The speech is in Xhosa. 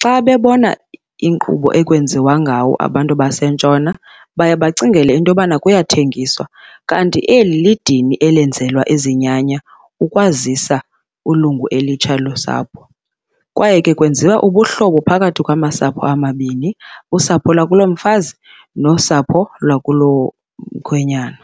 Xa bebona inkqubo ekwenziwa ngawo abantu baseNtshona baye bacingele into yokubana kuyathengiswa, kanti eli lidini elenzelwa izinyanya ukwazisa ulungu elitsha losapho kwaye ke kwenziwa ubuhlobo phakathi kwamasapho amabini, usapho lwakulo mfazi nosapho lwakulo mkhwenyana.